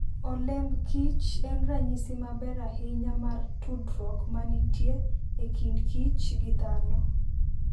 Olemb kich en ranyisi maber ahinya mar tudruok ma nitie e kindkich gi dhano.